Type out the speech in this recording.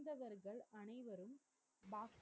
pass